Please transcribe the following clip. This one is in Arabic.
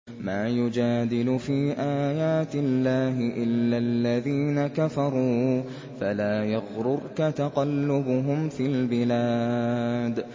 مَا يُجَادِلُ فِي آيَاتِ اللَّهِ إِلَّا الَّذِينَ كَفَرُوا فَلَا يَغْرُرْكَ تَقَلُّبُهُمْ فِي الْبِلَادِ